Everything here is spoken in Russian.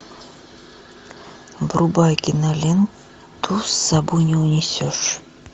врубай киноленту с собой не унесешь